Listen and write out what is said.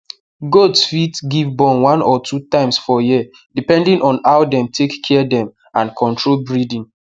goats fit give born one or two times for year depending on how dem take care dem and control breeding